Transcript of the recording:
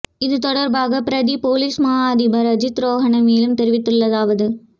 இது தொடர்பாக பிரதி பொலிஸ்மா அதிபர் அஜித் ரோஹண மேலும் தெரிவித்துள்ளதாவது